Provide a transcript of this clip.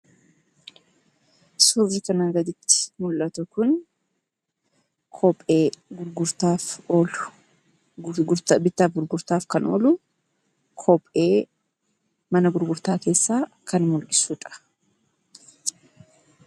Suurri kanaa gaditti mul'atu Kun, kophee bittaaf gurgurtaaf kan oolu , kophee mana gurgurtaa keessaa kan mul'isudha.